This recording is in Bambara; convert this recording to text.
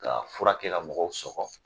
Ka fura kɛ ka mɔgɔw sɔkɔ